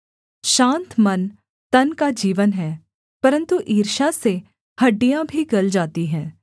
शान्त मन तन का जीवन है परन्तु ईर्ष्या से हड्डियाँ भी गल जाती हैं